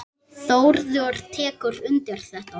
Þórður tekur undir þetta.